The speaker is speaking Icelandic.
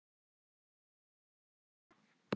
Ég sé hana gráta.